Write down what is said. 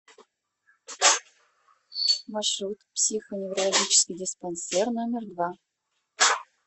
маршрут психоневрологический диспансер номер два